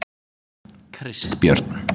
Kristbjörn